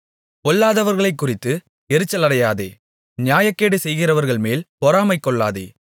பொல்லாதவர்களைக்குறித்து எரிச்சலடையாதே நியாயக்கேடு செய்கிறவர்கள்மேல் பொறாமை கொள்ளாதே